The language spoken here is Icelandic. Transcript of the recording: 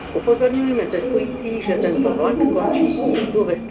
SÉRA SIGURÐUR: En veistu hvað frúrnar í bænum segja um þig?